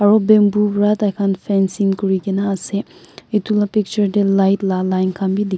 aru bamboo para tar khan fancing kori kina ase etu laga picture te light laga line khan bhi dekhi --